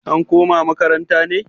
an koma makaranta ne?